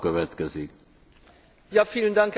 Herr Präsident, liebe Kolleginnen und Kollegen!